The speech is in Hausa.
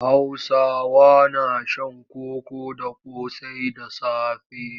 Hausawa na shan koko da ƙosai da safe.